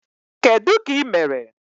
Kedụ ka imere?